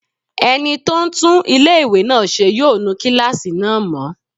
Ẹni tó ń tún ilé-ìwé náà ṣe yóò nu kílásì náà mọ́